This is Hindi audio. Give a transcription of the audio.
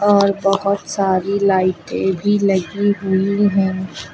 और बहोत सारी लाइटे भी लगी हुई है।